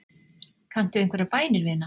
Kanntu einhverjar bænir, vina?